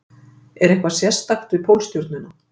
Er eitthvað sérstakt við Pólstjörnuna?